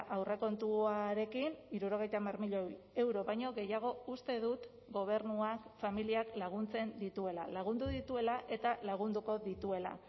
aurrekontuarekin hirurogeita hamar milioi euro baino gehiago uste dut gobernuak familiak laguntzen dituela lagundu dituela eta lagunduko dituela